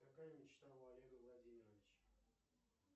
какая мечта у олега владимировича